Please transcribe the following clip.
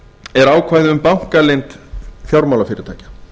er ákvæði um bankaleynd fjármálafyrirtækja